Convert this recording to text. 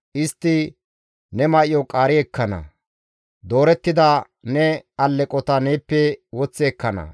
Istti ne may7o qaari ekkana; doorettida ne alleqota neeppe woththi ekkana.